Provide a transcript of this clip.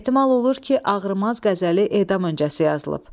Ehtimal olunur ki, Ağrımaz qəzəli edam öncəsi yazılıb.